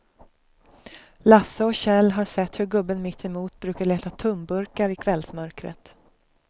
Lasse och Kjell har sett hur gubben mittemot brukar leta tomburkar i kvällsmörkret.